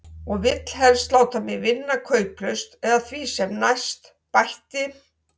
Og vill helst láta mig vinna kauplaust eða því sem næst, bætti